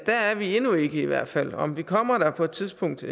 vi i hvert fald om vi kommer der på et tidspunkt